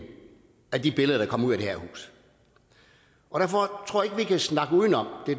af de billeder der kommer ud af det her hus og derfor tror jeg ikke vi kan snakke udenom